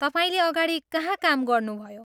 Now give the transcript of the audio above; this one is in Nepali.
तपाईँले अगाडि कहाँ काम गर्नुभयो?